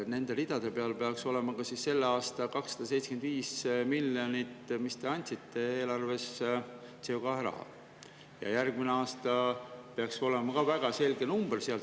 Nende ridade peal peaks olema ka selle aasta 275 miljonit CO2 raha, mida te eelarvest andsite, ja järgmine aasta peaks ka seal olema väga selge number.